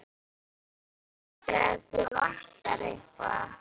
En hringdu ef þig vantar eitthvað.